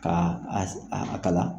K' a as a kala.